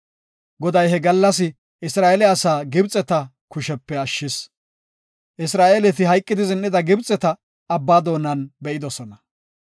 Goday he gallas Isra7eele asaa Gibxeta kushepe ashshis. Isra7eeleti hayqidi zin7ida Gibxeta Abbaa doonan be7idosona.